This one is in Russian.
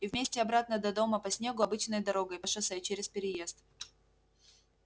и вместе обратно до дома по снегу обычной дорогой по шоссе через переезд